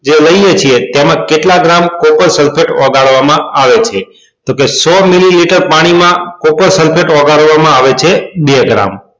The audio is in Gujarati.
જે લઈએ છીએ તેમાં કેટલા gram copper sulphate ઓગળવા માં આવે છે તો કે સો મીલીલીતર પાણી માં copper sulphate ઓગળવા માં આવે છે gram